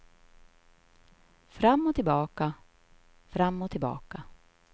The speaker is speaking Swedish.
Fram och tillbaka, fram och tillbaka.